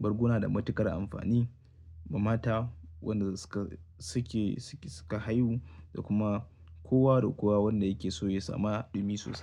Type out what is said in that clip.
Bargo na da matuƙar amfani, ma mata wanda suka haihu da kuma, kowa da kowa wanda yake so ya sama, ɗumi sosai.